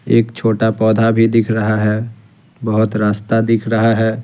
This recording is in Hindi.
एक छोटा पौधा भी दिख रहा है बहुत रास्ता दिख रहा है ।